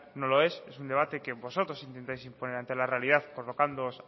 no lo es es un debate que vosotros intentáis imponer ante la realidad colocándoos